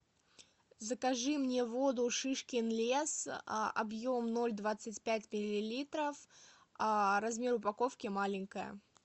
закажи мне воду шишкин лес объем ноль двадцать пять миллилитров размер упаковки маленькая